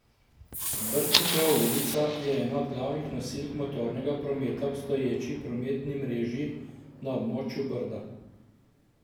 Brdnikova ulica je ena od glavnih nosilk motornega prometa v obstoječi prometni mreži na območju Brda.